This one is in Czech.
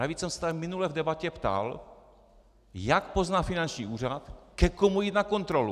Navíc jsem se tady minule v debatě ptal, jak pozná finanční úřad, ke komu jít na kontrolu.